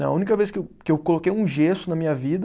Não, a única vez que eu, que eu coloquei um gesso na minha vida